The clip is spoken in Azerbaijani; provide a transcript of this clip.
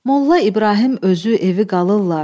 Molla İbrahim özü evi qalırlar.